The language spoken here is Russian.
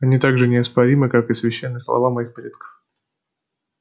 они так же неоспоримы как и священные слова моих предков